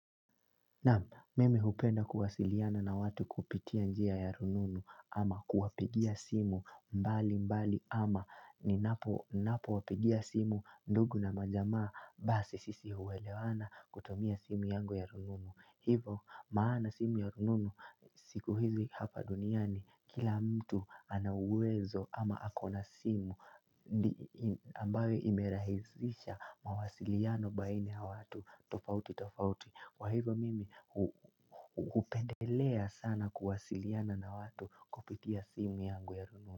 Mimi hupenda kuwasiliana na watu kupitia njia ya rununu ama kuwapigia simu mbali mbali ama ninapo wapigia simu ndugu na majamaa basi sisi huelewana kutumia simu yangu ya rununu. Hivo maana simu ya rununu siku hizi hapa duniani kila mtu ana uwezo ama ako na simu ambayo imerahisisha mawasiliano baina ya watu tofauti tofauti. Kwa hivyo mimi hupendelea sana kuwasiliana na watu kupitia simu yangu ya rununu.